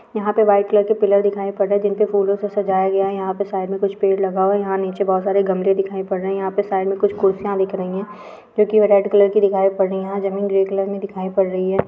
यहां पे white colour के पिलर दिखाई पड़ रहे जिनपे फूलों से सजाया गया है यहां पे साइड में कुछ पेड़ लगा हुआ है यहां नीचे बहुत सारे गमले दिखाई पड़ रहे है यहां पे साइड में कुछ कुर्सियां दिख रही है जो कि वे रेड कलर की दिखाई पड़ रही है यहां जमीन ग्रे कलर में दिखाई पड़ रही है।